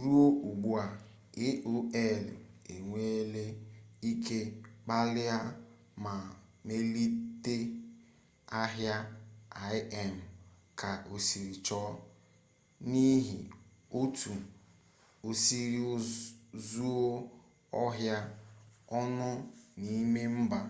ruo ugbua aol enweele ike kpalie ma melite ahịa im ka osiri chọ n'ihi otu osiri zuo ọha onụ n'ime mba